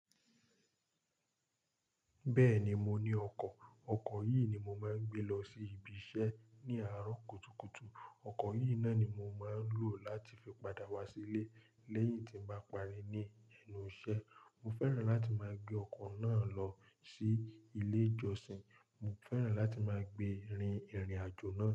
Bẹ́ẹ̀ni, mo ní ọkọ̀. Ọkọ̀ yìí ni mo máa ń gbé lọ sí ibiṣẹ́ ní àárọ̀ kùtùkùtù. Ọkọ̀ yìí náà ni mo máa ń lò láti fi padà wá sílé lẹ́yìn tí n bá parí ní ẹnu iṣẹ́. Mo fẹ́ràn láti máa gbé ọkọ̀ náà lọ sí ilé-ìjọsìn. Mo fẹ́ràn láti máa gbé rin ìrìnàjò náà.